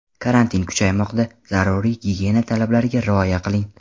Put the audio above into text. Karantin kuchaymoqda, zaruriy gigiyena talablariga rioya qiling.